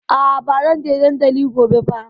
A'a, ba zan je dandali gobe ba.